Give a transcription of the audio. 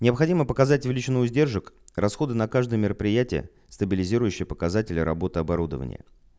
необходимо показать величину издержек расходы на каждое мероприятие стабилизирующее показатели работы оборудования